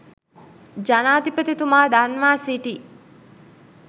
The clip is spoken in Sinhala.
ජනාධිපතිතුමා දන්වා සිටී.